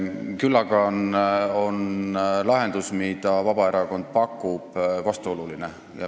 Küll aga on lahendus, mida Vabaerakond pakub, vastuoluline.